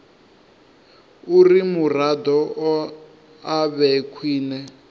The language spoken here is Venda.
uri muraḓo a vhe khwine